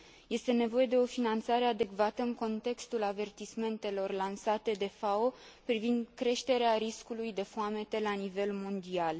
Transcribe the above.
Este nevoie de o finanțare adecvată în contextul avertismentelor lansate de FAO privind creșterea riscului de foamete la nivel mondial.